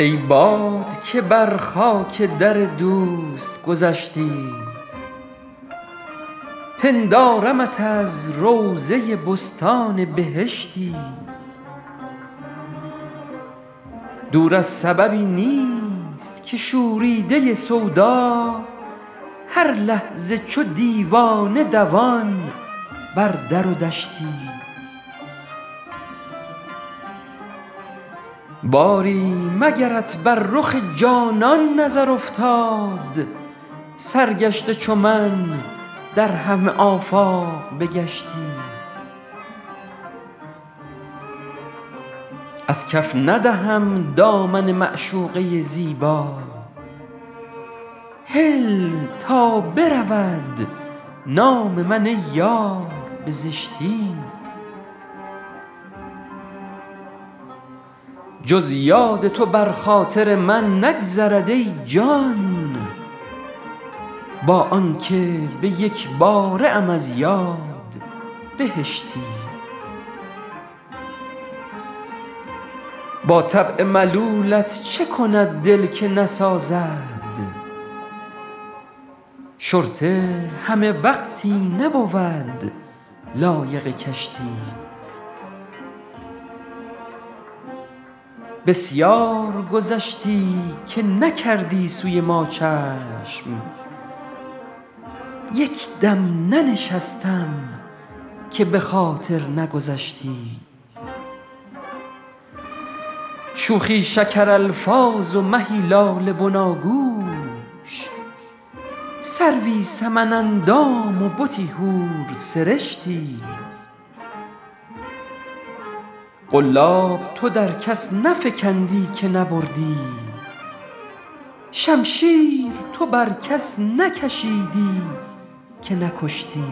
ای باد که بر خاک در دوست گذشتی پندارمت از روضه بستان بهشتی دور از سببی نیست که شوریده سودا هر لحظه چو دیوانه دوان بر در و دشتی باری مگرت بر رخ جانان نظر افتاد سرگشته چو من در همه آفاق بگشتی از کف ندهم دامن معشوقه زیبا هل تا برود نام من ای یار به زشتی جز یاد تو بر خاطر من نگذرد ای جان با آن که به یک باره ام از یاد بهشتی با طبع ملولت چه کند دل که نسازد شرطه همه وقتی نبود لایق کشتی بسیار گذشتی که نکردی سوی ما چشم یک دم ننشستم که به خاطر نگذشتی شوخی شکرالفاظ و مهی لاله بناگوش سروی سمن اندام و بتی حورسرشتی قلاب تو در کس نفکندی که نبردی شمشیر تو بر کس نکشیدی که نکشتی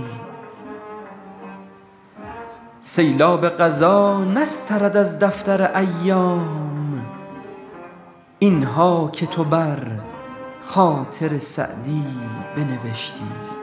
سیلاب قضا نسترد از دفتر ایام این ها که تو بر خاطر سعدی بنوشتی